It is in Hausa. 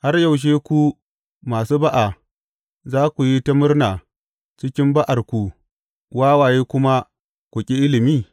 Har yaushe ku masu ba’a za ku yi ta murna cikin ba’arku wawaye kuma ku ƙi ilimi?